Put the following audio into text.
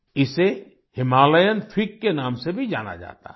इसे Himalayan fig के नाम से भी जाना जाता है